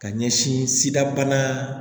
Ka ɲɛsin sidabana